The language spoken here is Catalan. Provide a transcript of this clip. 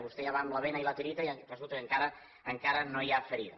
vostè ja va amb la bena i la tireta i resulta que encara no hi ha ferida